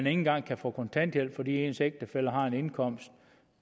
engang kan få kontanthjælp fordi ens ægtefælle har en indkomst